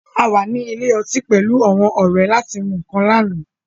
A wà ní ilé ọtí pẹ̀lú àwọn ọrẹ láti mú nǹkan lánàá